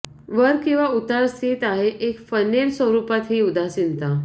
वर किंवा उतार स्थित आहे एक फनेल स्वरूपात ही उदासीनता